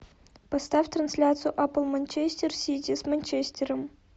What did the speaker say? поставь трансляцию апл манчестер сити с манчестером